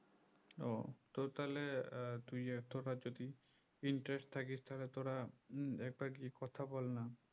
ও তো তাহলে আহ তুই তোরা যদি interest থাকিস তাহলে তোরা উম একবার গিয়ে কথা বলনা